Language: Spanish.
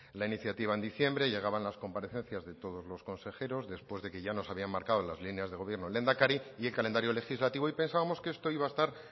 la iniciativa en diciembre llegaban las comparecencias de todos los consejeros después de que ya nos había marcado las líneas del gobierno el lehendakari y el calendario legislativo y pensábamos que esto iba a estar